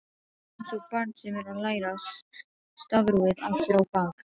Einsog barn sem er að læra stafrófið aftur á bak.